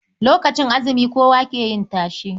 Lokacin azumi kowa yake yin tashe.